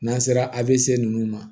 N'an sera a bɛ se ninnu ma